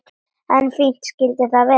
En fínt skyldi það vera!